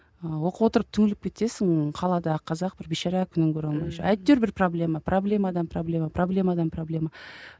ыыы оқып отырып түңіліп кетесің қаладағы қазақ бір бейшара күнін көре алмай жүр әйтеуір бір проблема проблемадан проблема проблемадан проблема